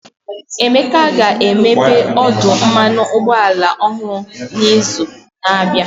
Emeka ga-emepe ọdụ mmanụ ụgbọala ọhụrụ n'izu na-abịa.